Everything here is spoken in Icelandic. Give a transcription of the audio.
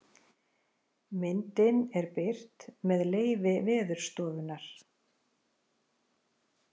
Myndin er birt með leyfi Veðurstofunnar.